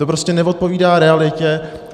To prostě neodpovídá realitě.